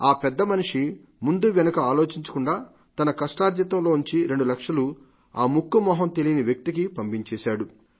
ఈ పెద్దమనిషి ముందూవెనుకా ఆలోచించకుండా తన కష్టార్జితంలోంచి రెండు లక్షలు ఆ ముక్కూ మొహం తెలియని వ్యక్తికి పంపించేశాడు